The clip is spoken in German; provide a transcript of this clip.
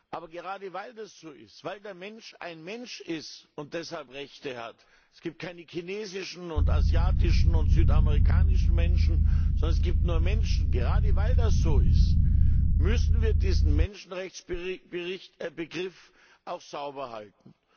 Aber gerade weil das so ist, weil der Mensch ein Mensch ist und deshalb Rechte hat es gibt keine chinesischen und asiatischen und südamerikanischen Menschen, sondern es gibt nur Menschen gerade weil das so ist, müssen wir diesen Menschenrechtsbegriff auch sauber halten.